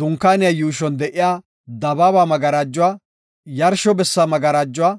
Dunkaaniya yuushon de7iya dabaaba magarajuwa, yarsho bessa magarajuwa,